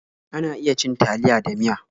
Ana iya cin taliya da miya.